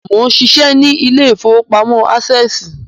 Mó ń ṣiṣẹ́ ní ilé ìfowópamọ́ Ásẹ̀sì